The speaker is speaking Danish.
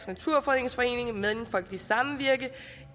naturfredningsforening mellemfolkeligt samvirke